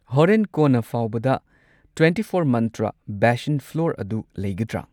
ꯍꯣꯔꯦꯟ ꯀꯣꯟꯅ ꯐꯥꯎꯕꯗ ꯇ꯭ꯋꯦꯟꯇꯤꯐꯣꯔ ꯃꯟꯇ꯭ꯔ ꯕꯦꯁꯟ ꯐ꯭ꯂꯣꯔ ꯑꯗꯨ ꯂꯩꯒꯗ꯭ꯔ?